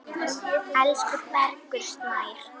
Elsku Bergur Snær.